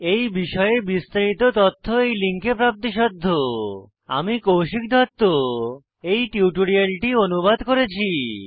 এই বিষয়ে বিস্তারিত তথ্য এই লিঙ্কে প্রাপ্তিসাধ্য httpspoken tutorialorgNMEICT Intro আমি কৌশিক দত্ত এই টিউটোরিয়ালটি অনুবাদ করেছি